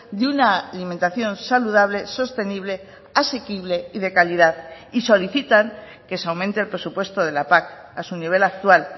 de una alimentación saludable sostenible asequible y de calidad y solicitan que se aumente el presupuesto de la pac a su nivel actual